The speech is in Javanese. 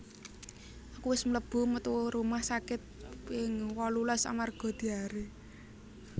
Aku wis melebu metu rumah sakit ping wolulas amarga diare